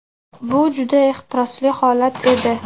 Bu juda ehtirosli holat edi.